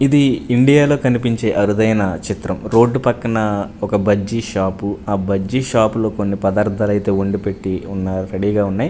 ఇది ఇండియా లో కనిపించే అరుదైన చిత్రం రోడ్డు పక్కన ఒక బజ్జి షాపు ఆ బజ్జి షాపు లో కొన్ని పదార్థాలైతే వండి పెట్టి ఉన్న రెడీ గా ఉన్నాయ్.